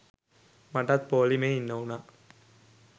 මටත් පෝළිමේ ඉන්න උනා.